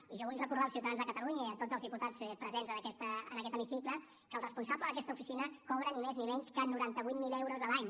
i jo vull recordar als ciutadans de catalunya i a tots els diputats presents en aquest hemicicle que el responsable d’aquesta oficina cobra ni més ni menys que noranta vuit mil euros a l’any